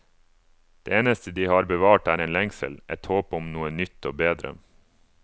Det eneste de har bevart er en lengsel, et håp om noe nytt og bedre.